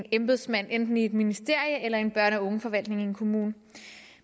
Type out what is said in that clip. embedsmand enten i et ministerie eller i en børn og ungeforvaltning i en kommune